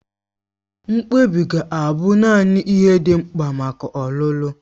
Mkpebi ga-abụ naanị ihe dị mkpa maka ọlụlụ.